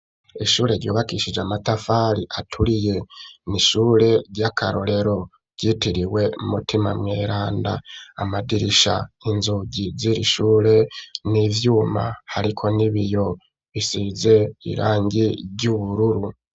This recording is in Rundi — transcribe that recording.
Ishure ryubakishije, amatafari aturiye; ni ishure ry'akarorero, ryitiriwe mutima mweranda; amadirisha, inzugi z'iri shure, ni ivyuma, hariko n'ibiyo, bisize irangi ry'ubururu.